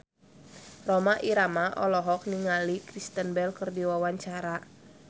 Rhoma Irama olohok ningali Kristen Bell keur diwawancara